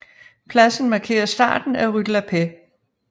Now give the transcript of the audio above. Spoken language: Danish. Pladsen markerer starten af Rue de la Paix